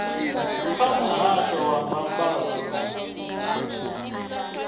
kha muhasho wa mbambadzo na